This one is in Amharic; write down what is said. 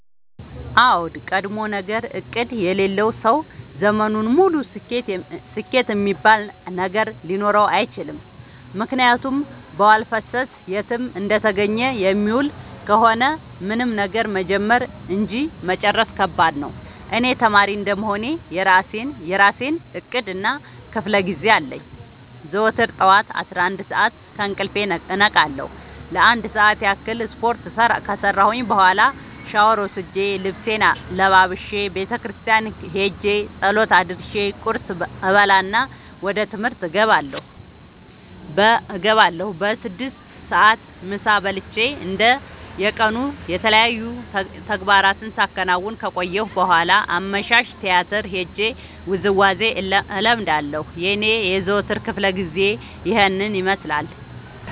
አዎድ ቀድሞነገር እቅድ የሌለው ሰው ዘመኑን ሙሉ ስኬት እሚባል ነገር ሊኖረው አይችልም። ምክንያቱም በዋልፈሰስ የትም እንደተገኘ የሚውል ከሆነ ምንም ነገር መጀመር እንጂ መጨረስ ከባድ ነው። እኔ ተማሪ እንደመሆኔ የእራሴ እቅድ እና ክፋለጊዜ አለኝ። ዘወትር ጠዋት አስራአንድ ሰዓት ከእንቅልፌ እነቃለሁ ለአንድ ሰዓት ያክል ስፓርት ከሰራሁኝ በኋላ ሻውር ወስጄ ልብሴን ለባብሼ ቤተክርስቲያን ኸጄ ፀሎት አድርሼ ቁርስ እበላና ወደ ትምህርት እገባለሁ። በስድስት ሰዓት ምሳ በልቼ እንደ የቀኑ የተለያዩ ተግባራትን ሳከናውን ከቆየሁ በኋላ አመሻሽ ቲያትር ሄጄ ውዝዋዜ እለምዳለሁ የኔ የዘወትር ክፍለጊዜ ይኸን ይመስላል።